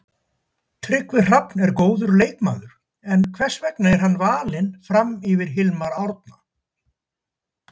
Tryggvi Hrafn er góður leikmaður, en hvers vegna er hann valinn fram yfir Hilmar Árna?